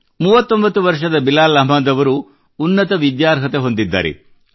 39 ವರ್ಷದ ಬಿಲಾಲ್ ಅಹ್ಮದ್ ಅವರು ಉನ್ನತ ವಿದ್ಯಾರ್ಹತೆ ಹೊಂದಿದ್ದಾರೆ